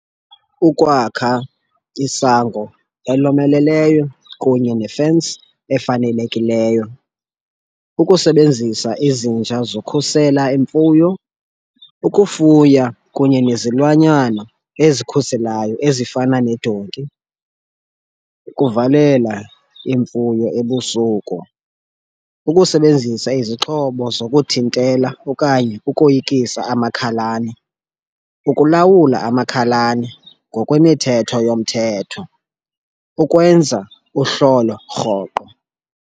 Ukwakha isango elomeleleyo kunye ne-fence efanelekileyo. Ukusebenzisa izinja zokhusela imfuyo, ukufuya kunye nezilwanyana ezikhuselayo ezifana nedonki, ukuvalela imfuyo ebusuku, ukusebenzisa izixhobo zokuthintela okanye ukoyikisa amakhalane, ukulawula amakhalane ngokwemithetho yomthetho, ukwenza uhlolo rhoqo.